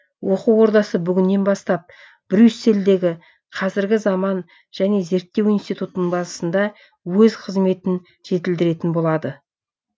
оқу ордасы бүгіннен бастап брюссельдегі қазіргі заман және зерттеу институтының базасында өз қызметін жетілдіретін болады